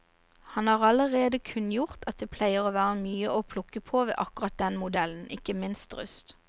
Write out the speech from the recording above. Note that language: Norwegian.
Han har allerede kunngjort at det pleier å være mye å plukke på ved akkurat den modellen, ikke minst rust.